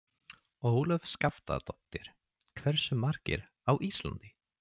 Ólöf Skaftadóttir: Hversu margar á Íslandi?